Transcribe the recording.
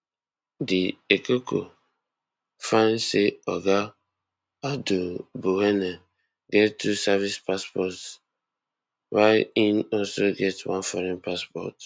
di ecoco find say oga aduboahene get two service passports wia im also get one foreign passport